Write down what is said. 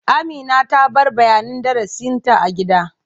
Amina ta bar bayanin darasinta a gida.